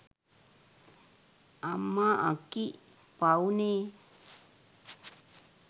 අම්මා අක්කි පව්නේ